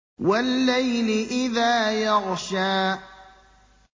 وَاللَّيْلِ إِذَا يَغْشَىٰ